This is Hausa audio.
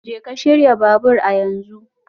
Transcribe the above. Jeka shirya babur a yanzu